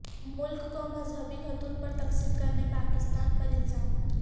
ملک کو مذہبی خطوط پر تقسیم کرنے پاکستان پر الزام